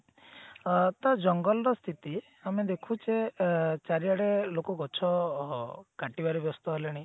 ଅ ତ ଜଙ୍ଗଲ ର ସ୍ଥିତି ଆମେ ଦେଖୁଛେ ଅ ଚାରିଆଡେ ଲୋକ ଗଛ କଟିବାରେ ବ୍ୟସ୍ତ ହେଲେଣି